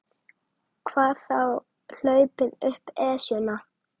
Hvað þá hlaupið upp Esjuna.